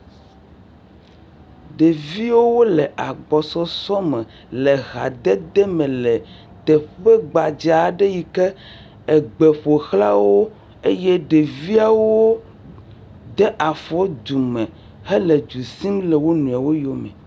ɖeviwo wóle agbɔsɔsɔ me le ha dede me le teƒe gbadza'ɖe yike egbe ƒoxlã wó eye ɖeviawo de afɔ dume hele dusim le wonɔewo yóme